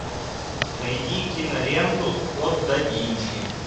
найди киноленту код да винчи